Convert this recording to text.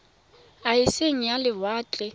a e seng a lewatle